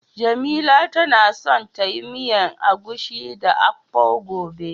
Jamila tana son ta yi miyan agushi da "akpu" gobe.